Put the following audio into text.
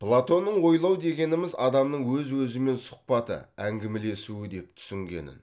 платонның ойлау дегеніміз адамның өз өзімен сұхбаты әңгімелесуі деп түсінгенін